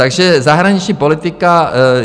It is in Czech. Takže zahraniční politika.